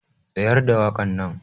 Tsayar da wakar nan.